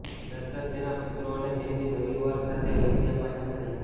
દશરથ તેના પુત્રો અને તેમની નવી વર સાથે અયોધ્યા પાછા ફર્યા